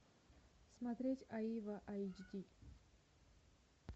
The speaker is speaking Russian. смотреть аива айч ди